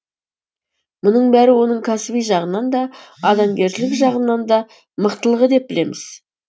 мұның бәрі оның кәсіби жағынан да адамгершілік жағынан да мықтылығы деп білеміз